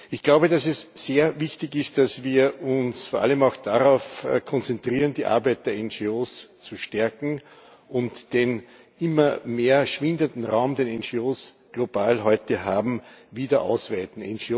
Ich glaube, dass es sehr wichtig ist, dass wir uns vor allem auch darauf konzentrieren, die Arbeit der NGOs zu stärken, und den immer mehr schwindenden Raum, den NGOs global heute haben, wieder ausweiten.